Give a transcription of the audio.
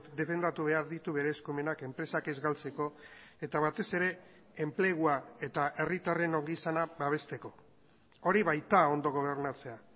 defendatu behar ditu bere eskumenak enpresak ez galtzeko eta batez ere enplegua eta herritarren ongizana babesteko horibaita ondo gobernatzea